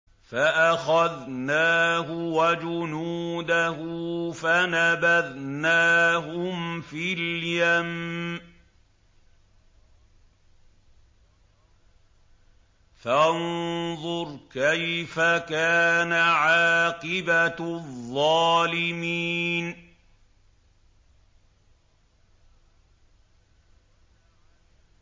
فَأَخَذْنَاهُ وَجُنُودَهُ فَنَبَذْنَاهُمْ فِي الْيَمِّ ۖ فَانظُرْ كَيْفَ كَانَ عَاقِبَةُ الظَّالِمِينَ